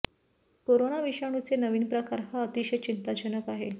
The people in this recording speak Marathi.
कोरोना विषाणूचे नवीन प्रकार हा अतिशय चिंताजनक आहे